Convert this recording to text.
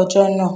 ọjọ nàà